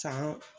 San